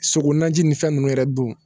Sogo naji nin fɛn nunnu yɛrɛ don